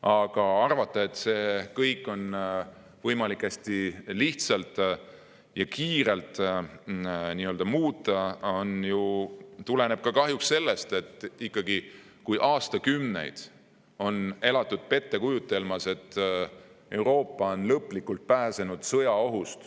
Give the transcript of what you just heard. Aga arvamus, et seda kõike on võimalik hästi lihtsalt ja kiirelt muuta, tuleneb ju kahjuks sellest, et aastakümneid on elatud pettekujutelmas, et Euroopa on sõjaohust lõplikult pääsenud.